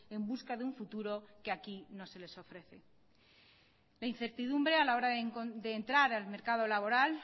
en busca de un futuro que aquí no se les ofrece la incertidumbre a la hora de entrar al mercado laboral